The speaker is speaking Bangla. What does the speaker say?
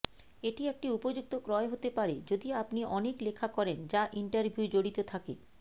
এটি একটি উপযুক্ত ক্রয় হতে পারে যদি আপনি অনেক লেখা করেন যা ইন্টারভিউ জড়িত থাকে